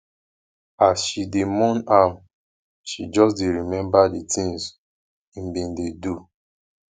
as she dey mourn am she just dey remember di tins im bin dey do